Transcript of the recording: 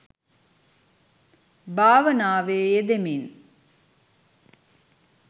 භාවනාවේ යෙදෙමින්